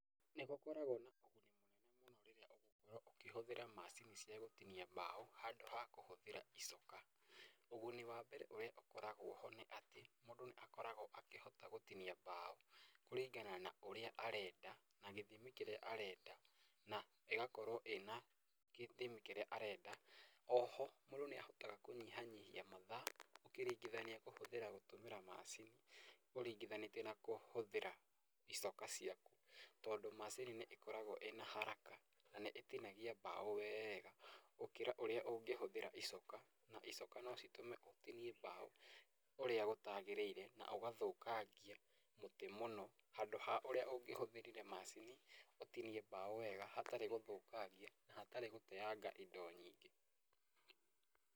Nĩ gũkoragwo na ũguni mũnene mũno rĩrĩa ũgũkorwo ũkũhũthĩra macini ya gũtinia mbaũ handũ ha kũhũthĩra icoka, ũguni wa mbere ũrĩa ũkoragwo ho nĩ atĩ mũndũ nĩ akoragwo akĩhota gũtinia mbaũ kũringana na ũrĩa arenda na gĩthimi kĩrĩa arenda na ĩgakorwo ĩna gĩthimi kĩrĩa arenda, na oho mũndũ nĩahitaga kũnyihanyihia mathaa, ũkĩringithania kũhũthĩra gũtũmĩra macini ũringithanĩtie na kũhũthĩra icoka ciaku, tondũ macini nĩ ĩkoragwo ĩna haraka na nĩ ĩtinagia mbaũ wega, gũkĩra ũrĩa ũngĩhũthĩra icoka na icoka no citũme ũtinie mbaũ ũrĩa gũtagĩrĩire na ũgathũkangia mũtĩ mũno handũ ha ũrĩa ũngĩhũthĩrire macini ũtinie mbaũ wega hatari gũthũkangia na hatarĩ gũteanga indo nyingĩ.